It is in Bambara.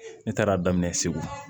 Ne taara daminɛ segu